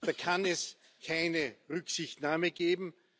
Da kann es keine Rücksichtnahme geben.